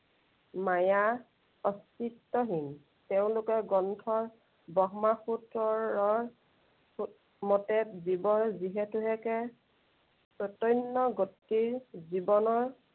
মায়া, অস্তিত্বহীন। তেওঁলোকৰ গ্ৰন্থৰ ব্ৰহ্মা সূত্ৰৰৰ মতে জীৱৰ যিহেতু হেকে, চৈতন্য় গতিৰ জীৱনৰ